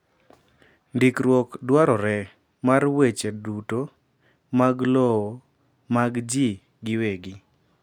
Ndikruok dwarore mar weche duto mag lowo mag ji gi wegi.